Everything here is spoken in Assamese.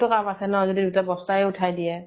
বেলেগ তো কাম আছে ন, যদি দুটা বস্তা য়ে উঠাই দিয়ে ।